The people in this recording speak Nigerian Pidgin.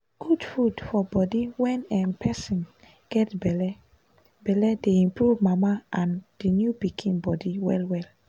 good food for body when um person get belle belle dey improve mama and the new pikin body well well